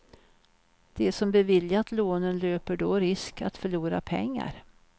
De som beviljat lånen löper då risk att förlora pengar.